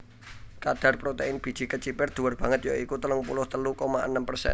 Kadar protèin biji kecipir dhuwur banget ya iku telung puluh telu koma enem persen